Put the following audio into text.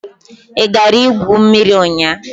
Ị gara igwu mmiri ụnyahụ?